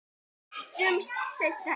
Sjáumst seinna í dag